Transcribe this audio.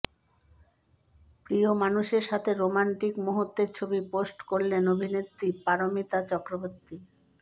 প্রিয় মানুষের সাথে রোম্যান্টিক মুহূর্তের ছবি পোস্ট করলেন অভিনেত্রী পারমিতা চক্রবর্তী